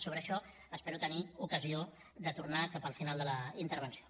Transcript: sobre això espero tenir ocasió de tornar hi cap al final de la intervenció